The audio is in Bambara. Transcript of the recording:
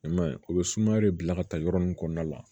I ma ye u bɛ sumaya de bila ka taa yɔrɔ min kɔnɔna la